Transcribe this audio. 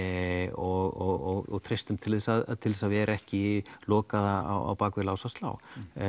og treystum til að til að vera ekki lokaðir á bak við lás og slá